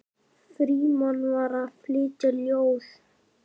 Frímann var að flytja ljóð.